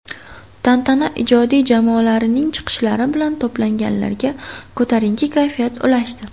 Tantana ijodiy jamoalarning chiqishlari bilan to‘planganlarga ko‘tarinki kayfiyat ulashdi.